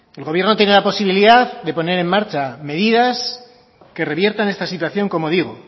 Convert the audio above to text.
el gobierno tiene la posibilidad de poner en marcha medidas que reviertan esta situación como digo